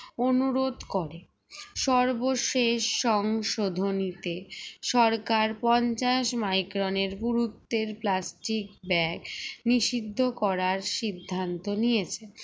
অনুরোধ করে সর্বশেষ সংশোধনী তে সরকার পঞ্চাশ micron এর গুরুত্বের plastic bag নিষিদ্ধ করার সিদ্ধান্ত নিয়েছে